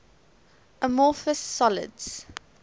amorphous solids